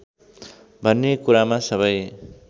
भन्ने कुरामा सबै